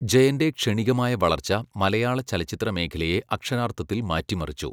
ജയന്റെ ക്ഷണികമായ വളർച്ച മലയാള ചലച്ചിത്രമേഖലയെ അക്ഷരാർത്ഥത്തിൽ മാറ്റിമറിച്ചു.